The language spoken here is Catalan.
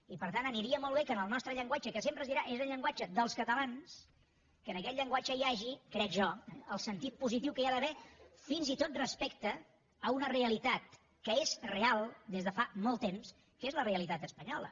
i per tant aniria molt bé que en el nostre llenguatge que sempre es dirà és el llenguatge dels catalans que en aquest llenguatge hi hagi crec jo el sentit positiu que hi ha d’haver fins i tot respecte a una realitat que és real des de fa molt temps que és la realitat espanyola